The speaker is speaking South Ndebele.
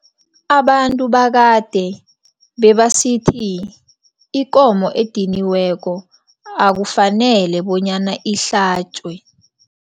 Abantu bakade bebasithi, ikomo ediniweko akufanele bonyana ihlatjwe.